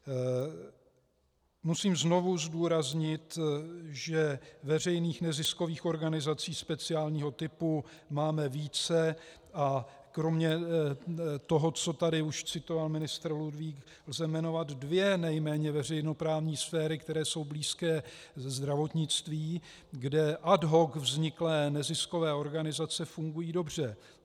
Musím znovu zdůraznit, že veřejných neziskových organizací speciálního typu máme více, a kromě toho, co tady už citoval ministr Ludvík, lze jmenovat dvě nejméně veřejnoprávní sféry, které jsou blízké zdravotnictví, kde ad hoc vzniklé neziskové organizace fungují dobře.